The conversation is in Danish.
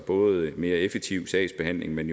både en mere effektiv sagsbehandling men